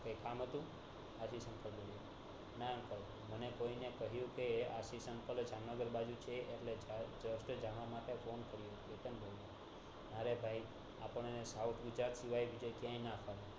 કઈ કામ હતું ના uncle મને કોઈને કહીંયુ કે હશીશ uncle જામનગર બાજુ છે એટલે જવા માટે phone કર્યો કેતન બોલું આપણને સાઉથ ગુજરાત સિવાય બીજે ક્યાંય ના ગમે